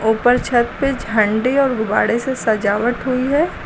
ऊपर छत पे झंडे और गुब्बाड़े से सजावट हुई है।